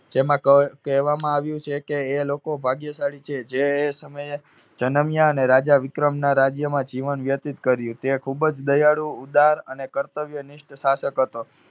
જેમાં ક~કહેવામાં આવ્યું છે કે એ લોકો ભાગ્યશાળી છે જે એ સમયે જનમ્યા અને રાજા વિક્રમના રાજ્યમાં જીવન વ્યતીત કર્યું. તે ખુબ જ દયાળુ, ઉદાર અને કર્તવ્યનિષ્ઠ શાસક હતો.